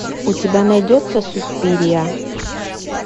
у тебя найдется суспирия